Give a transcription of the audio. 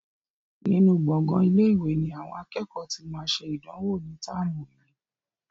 Nínú gbongan ilé-ìwé ni àwọn akẹ́kọ̀ọ́ tí máa ṣe ìdánwò ní táàmù yìí.